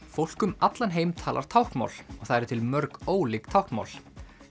fólk um allan heim talar táknmál og það eru til mörg ólík táknmál